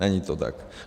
- Není to tak?